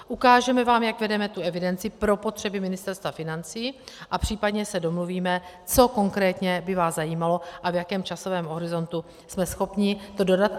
Ukážeme vám, jak vedeme tu evidenci pro potřeby Ministerstva financí, a případně se domluvíme, co konkrétně by vás zajímalo a v jakém časovém horizontu jsme schopni to dodat.